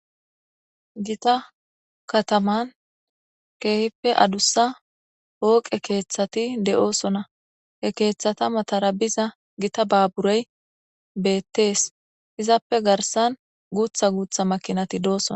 gita kataman keehippe adussa hooqe keeththati de7oosona he keeththata matarabiza gita baaburey beettees izappe garsan guutha guutha makinati dooson